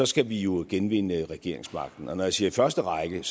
skal vi jo genvinde regeringsmagten når jeg siger i første række er